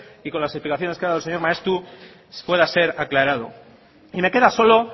y con las explicaciones que ha dado el señor maeztu pueda ser aclarado y me queda solo